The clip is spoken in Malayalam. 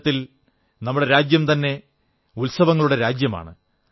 ഒരുതരത്തിൽ നമ്മുടെ രാജ്യംതന്നെ ഉത്സവങ്ങളുടെ രാജ്യമാണ്